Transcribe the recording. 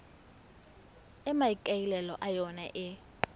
e maikaelelo a yona e